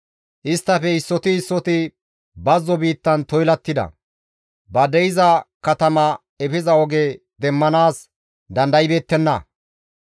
Isttafe issoti issoti bazzo biittan toylattida; ba de7iza katama efiza oge demmanaas dandaybeettenna.